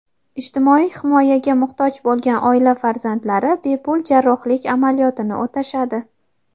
ijtimoiy himoyaga muhtoj bo‘lgan oila farzandlari bepul jarrohlik amaliyotini o‘tashadi.